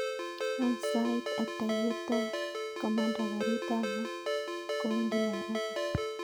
Any sait ata yetot komanda garit ab maat kowendi nairobi